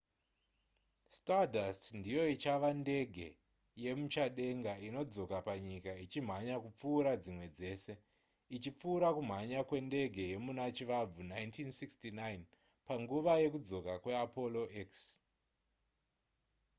stardust ndiyo ichava ndege yemuchadenga inodzoka panyika ichimhanya kupfuura dzimwe dzese ichipfuura kumhanya kwendege yemuna chivabvu 1969 panguva yekudzoka kweapollo x